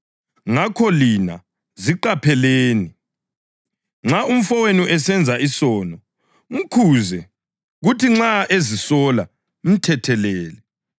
Ngakho lina ziqapheleni. Nxa umfowenu esenza isono, mkhuze, kuthi nxa ezisola, mthethelele.